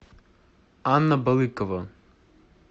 анна балыкова